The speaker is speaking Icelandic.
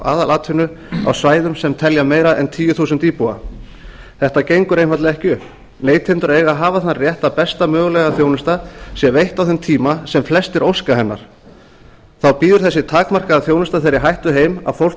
aðalatvinnu á svæðum sem telja meira en tíu þúsund manns þetta gengur einfaldlega ekki upp neytendur eiga að hafa þann rétt að besta mögulega þjónusta sé veitt á þeim tíma sem flestir óska hennar þá býður þessi takmarkaða þjónusta þeirri hættu heim að fólk